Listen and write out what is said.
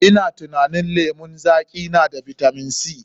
Ina tunanin lemon zaƙi na da bitamin C.